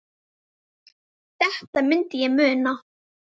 Þetta myndi ég muna!